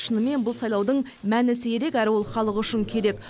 шынымен бұл сайлаудың мәнісі ерек әрі ол халық үшін керек